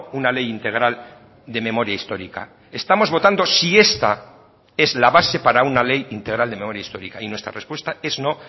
una ley integral de memoria histórica estamos votando si esta es la base para una ley integral de memoria histórica y nuestra respuesta es no